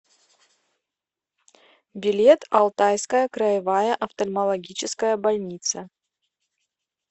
билет алтайская краевая офтальмологическая больница